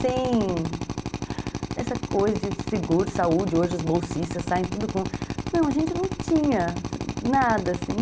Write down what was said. Sem essa coisa de seguro, saúde, hoje os bolsistas saem tudo com... Não, a gente não tinha nada assim.